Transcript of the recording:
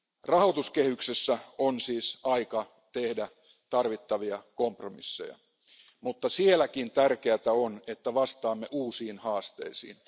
Rahoituskehyksessä on siis aika tehdä tarvittavia kompromisseja. Mutta siinäkin on tärkeää, että vastaamme uusiin haasteisiin.